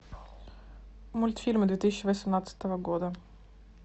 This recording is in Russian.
мультфильмы две тысячи восемнадцатого года